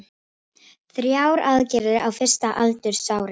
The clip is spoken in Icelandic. Þrjár aðgerðir á fyrsta aldursári